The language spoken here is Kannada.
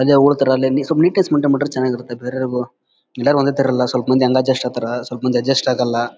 ಅಲ್ಲೇ ಉಲ್ತಾರೆ ಅಲ್ಲೇ ಸ್ವಲ್ಪ ನೀಟ್ನೆಸ್ ಮೈನ್ಟೈನ್ ಚೆನ್ನಾಗಿರುತ್ತೆ ಬೇರೆಯವರಿಗೂ ಎಲ್ಲರು ಒಂದೇ ತರ ಇರೋಲ್ಲ ಸ್ವಲ್ಪ ಮಂದಿ ಹಂಗ ಅಡ್ಜಸ್ಟ್ ಆಗ್ತಾರಾ ಸ್ವಲ್ಪ ಮಾಡಿ ಅಡ್ಜಸ್ಟ್ ಆಗೋಲ್ಲ--